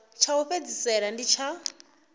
tsha u fhedzisela ndi tsha